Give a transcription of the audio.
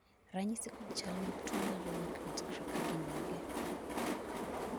ranyisi kod chal mag tuo mar renak nutcracker gin mage?